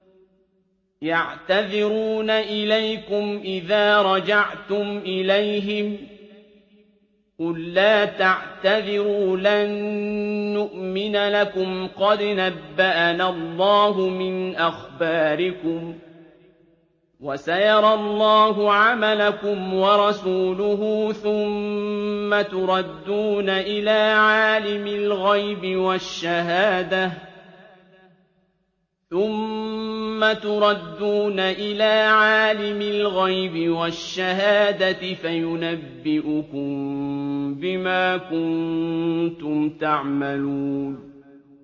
يَعْتَذِرُونَ إِلَيْكُمْ إِذَا رَجَعْتُمْ إِلَيْهِمْ ۚ قُل لَّا تَعْتَذِرُوا لَن نُّؤْمِنَ لَكُمْ قَدْ نَبَّأَنَا اللَّهُ مِنْ أَخْبَارِكُمْ ۚ وَسَيَرَى اللَّهُ عَمَلَكُمْ وَرَسُولُهُ ثُمَّ تُرَدُّونَ إِلَىٰ عَالِمِ الْغَيْبِ وَالشَّهَادَةِ فَيُنَبِّئُكُم بِمَا كُنتُمْ تَعْمَلُونَ